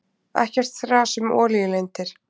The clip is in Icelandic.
Ekkert þras um olíulindir.